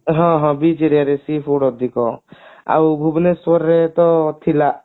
ହଁ ହଁ beach aria ରେ seafood ଅଧିକ ଆଉ ଭୁବନେଶ୍ବର ରେ ତ ଥିଲା